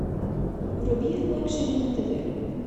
вруби лакшери на тв